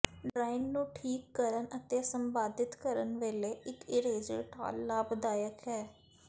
drawing ਨੂੰ ਠੀਕ ਕਰਨ ਅਤੇ ਸੰਪਾਦਿਤ ਕਰਨ ਵੇਲੇ ਇੱਕ ਇਰੇਜਰ ਢਾਲ ਲਾਭਦਾਇਕ ਹੈ